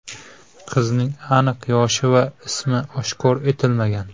Qizning aniq yoshi va ismi oshkor etilmagan.